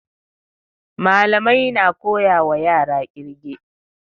Malamai na koya ma yara ƙirge